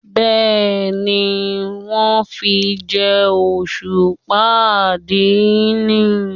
Bẹ́ẹ̀ni, wón fi jẹ́ òṣùpá àdínì.